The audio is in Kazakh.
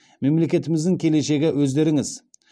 мемлекетіміздің келешегі өздеріңіз